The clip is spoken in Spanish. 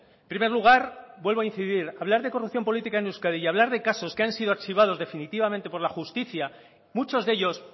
en primer lugar vuelvo a incidir hablar de corrupción política en euskadi y hablar de casos que han sido archivados definitivamente por la justicia muchos de ellos